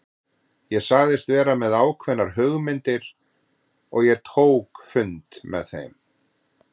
Ég sagðist vera með ákveðnar hugmyndir og ég tók fund með þeim.